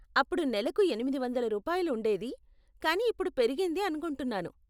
అప్పుడు నెలకు ఎనిమిది వందల రూపాయలు ఉండేది, కానీ ఇప్పుడు పెరిగింది అనుకుంటున్నాను.